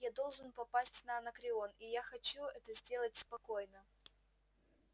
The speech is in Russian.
я должен попасть на анакреон и я хочу это сделать спокойно